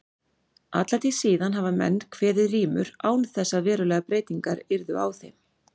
Alla tíð síðan hafa menn kveðið rímur án þess að verulegar breytingar yrðu á þeim.